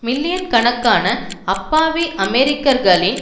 million கணக்கான அப்பாவி அமெரிக்கர்களின்